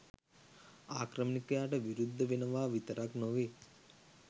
ආක්‍රමණිකයාට විරුද්ධ වෙනවා විතරක් නොවෙයි